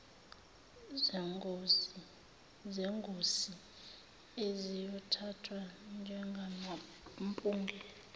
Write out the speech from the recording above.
zengosi eziyothathwa njengamampunge